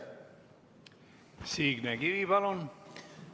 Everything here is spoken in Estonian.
Signe Kivi, palun!